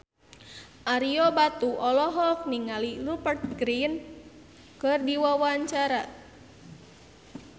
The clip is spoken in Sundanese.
Ario Batu olohok ningali Rupert Grin keur diwawancara